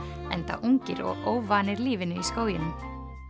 enda ungir og óvanir lífinu í skóginum